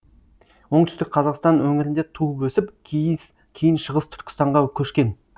оңтүстік қазақстан өңірінде туып өсіп кейін шығыс түркістанға көшкен